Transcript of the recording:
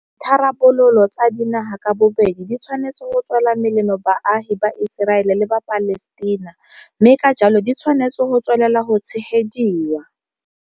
Ditharabololo tsa dinaga ka bobedi di tshwanetse go tswela melemo baagi ba Iseraele le ba Palestina, mme ka jalo di tshwanetse go tswelela go tshegediwa.